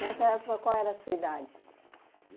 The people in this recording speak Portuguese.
Nessa época qual era a sua idade?